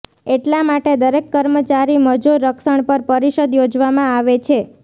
એટલા માટે દરેક કર્મચારી મજૂર રક્ષણ પર પરિષદ યોજવામાં આવે છે